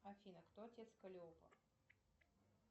афина кто отец калиопа